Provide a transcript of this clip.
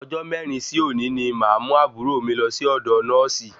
Ọjọ mẹrin sí òní ní máa mú àbúrò mí lọ sí ọdọ nọ́ọ̀sì